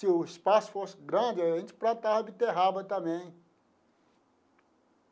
Se o espaço fosse grande, a gente plantava a beterraba também.